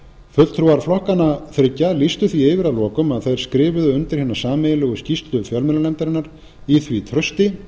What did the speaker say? fulltrúar flokkanna þriggja lýstu því yfir að lokum að þeir skrifuðu undir hina sameiginlegu skýrslu fjölmiðlanefndarinnar í því trausti